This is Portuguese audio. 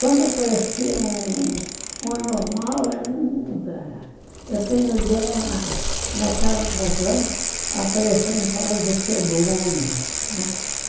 Quando aparecia um um um anormal, era um... Eu tenho ideia, naquela razão, apareceu um tal de.